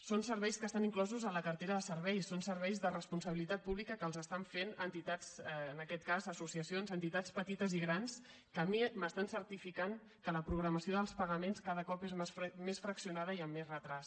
són serveis que estan inclosos en la cartera de serveis són serveis de responsabilitat pública que estan fent entitats en aquest cas associacions entitats petites i grans que a mi m’estan certificant que la programació dels pagaments cada cop és més fraccionada i amb més retard